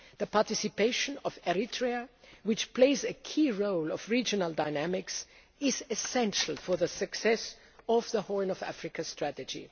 future. The participation of Eritrea, which plays a key role in the regional dynamics, is essential for the success of the Horn of Africa